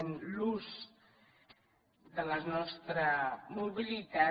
en l’ús de la nostra mobilitat